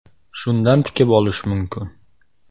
Shundan tikib olish mumkin.